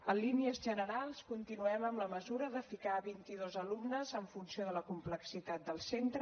en línies generals continuem amb la mesura de ficar vint i dos alumnes en funció de la complexitat del centre